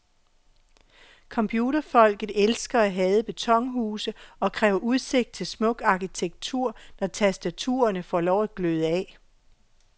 Computerfolket elsker at hade betonhuse og kræver udsigt til smuk arkitektur, når tastaturerne får lov at gløde af.